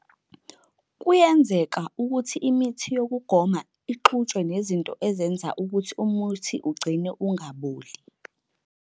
Kuyenzeka ukuthi imithi yokugoma ixutshwe nezinto ezenza ukuthi umuthi ugcineke ungaboli